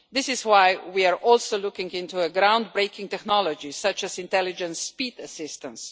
This is why we are also looking into a ground breaking technology such as intelligent speed assistance.